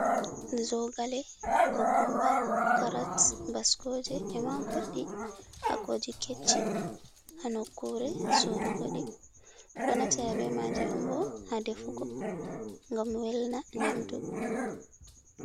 Zoogale, kukumba, carat, bascooje, ema goɗɗi, haa kooji kecci, Haa nokure sorugo ɗi ɗo naftira be maaji on ɓo haa defugo ngam welna nyamdu.